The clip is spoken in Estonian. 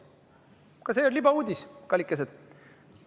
Ka see on libauudis, kallikesed!